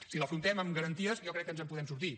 si l’afrontem amb garanties jo crec que ens en podem sortir